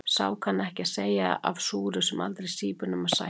Sá kann ekki að segja af súru sem aldrei sýpur nema sætt.